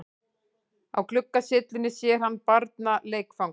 Á gluggasyllunni sér hann barnaleikfang.